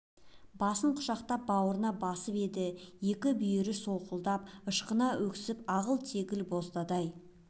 басынан құшақтап бауырына басып еді екі бүйір солқылдап ышқына өксіп ағыл-тегіл боздады-ай